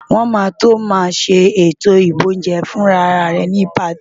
Wọn máa tó màá ṣe ètò boúnjẹ-fúnra rẹ ni patí.